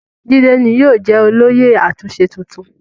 Jídé ni yóò jẹ́ olóyè àtúnṣe tuntun.